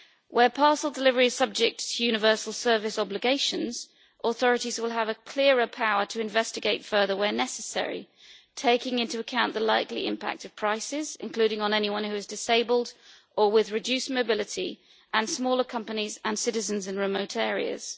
Where parcel delivery is subject to universal service obligations, authorities will have a clearer power to investigate further, where necessary, taking into account the likely impact of prices, including on anyone who is disabled or who has reduced mobility, and smaller companies and citizens in remote areas.